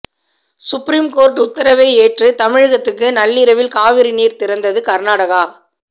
supreme court உத்தரவை ஏற்று தமிழகத்துக்கு நள்ளிரவில் காவிரிநீர் திறந்தது கர்நாடகா